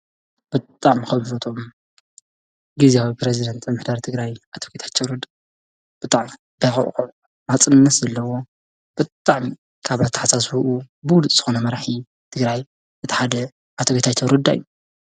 ብጣዕሚ ካብ ዝፈትዎም ግዝያዊ ፕረዚደንት ምምሕዳር ትግራይ ኣቶ ጌታቸው ረዳ ብጣዕሚ ታይ ክውግዖ ናፅነት ዘለዎ ብጣዕሚ ካብ ኣተሓሳስባኡ ብሉፅ ዝኾነ መራሒ ትግራይ እቲ ሓደ ኣቶ ጌታቸው ረዳ እዩ።